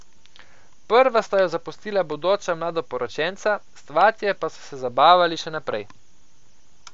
Prva sta jo zapustila bodoča mladoporočenca, svatje pa so se zabavali še naprej.